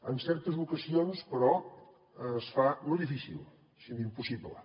en certes ocasions però es fa no difícil sinó impossible